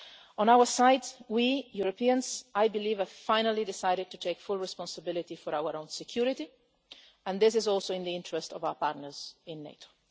On our side, we Europeans have finally decided to take full responsibility for our own security, and this is also in the interest of our partners in NATO.